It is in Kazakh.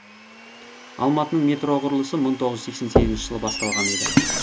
алматының метро құрылысы мың тоғыз жүз сексен сегізінші жылы басталған еді